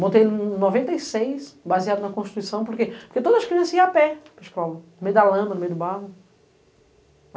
Montei em noventa e seis, baseado na Constituição, porque todas as crianças iam a pé, no meio da lama, no meio do barro.